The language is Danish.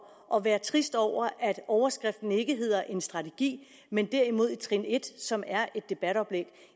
at være trist over at overskriften ikke hedder en strategi men derimod et trin et som er et debatoplæg